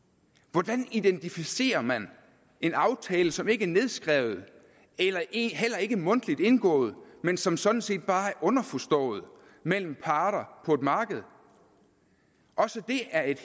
hvordan identificerer man en aftale som ikke er nedskrevet heller ikke heller ikke mundtligt indgået men som sådan set bare er underforstået mellem parter på et marked også det er et